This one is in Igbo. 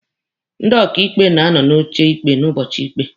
Ndị ọkaịkpe na-anọ n'oche ikpe n'ụbọchị ikpe.